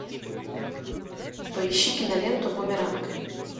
поищи киноленту бумеранг